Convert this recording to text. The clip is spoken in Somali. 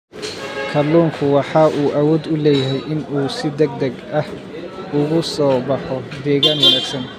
Kalluunku waxa uu awood u leeyahay in uu si degdeg ah ugu soo baxo deegaan wanaagsan.